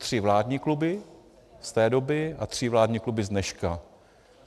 Tři vládní kluby z té doby a tři vládní kluby z dneška.